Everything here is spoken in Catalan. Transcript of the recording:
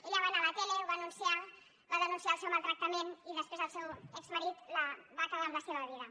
ella va anar a la tele ho va anunciar va denunciar el seu maltractament i després el seu exmarit va acabar amb la seva vida